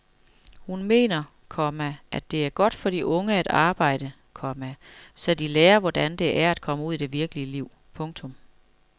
Hun mener, komma det er godt for de unge at arbejde, komma så de lærer hvordan det er at komme ud i det virkelige liv. punktum